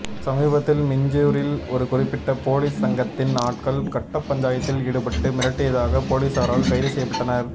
சமீபத்தில் மீஞ்சுரில் ஒரு குறிப்பிட்ட போலி சங்கத்தின் ஆட்கள் கட்டப் பஞ்சாயத்தில் ஈடுபட்டு மிரட்டியதாக போலீஸாரால் கைது செய்யப்பட்டனர்